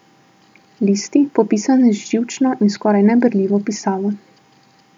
Listi, popisani z živčno in skoraj neberljivo pisavo.